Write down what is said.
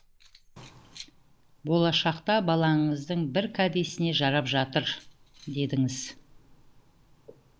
болашақта балаңыздың бір кәдесіне жарап жатар дедіңіз